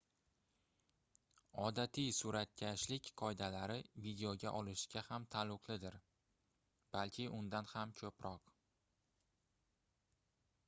odatiy suratkashlik qoidalari videoga olishga ham taalluqlidir balki undan ham koʻproq